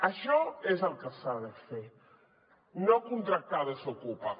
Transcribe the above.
això és el que s’ha de fer no contractar desokupa